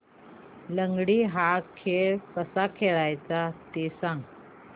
लंगडी हा खेळ कसा खेळाचा ते सांग